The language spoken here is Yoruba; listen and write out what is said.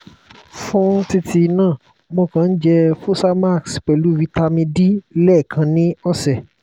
fún títí náà mo kàn ń jẹ́ fosamax pelu vitamin d lẹ́ẹkan ni ọ̀sẹ̀